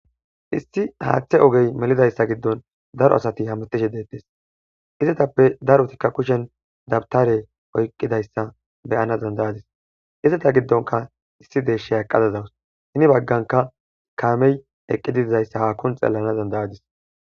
Issi haaththe ogey melidayssa giddon daro asati hamatishe deettes izetappe darotikka kushen dabtare oyqqidayssa beyana dandayadis izeta giddonka issi deeshshe haqqadazawus hini bagganka kaamey eqqididzayssa hakkun xeelana zandayadis.